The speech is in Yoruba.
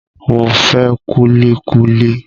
Mo fẹ́ kúlí kúlí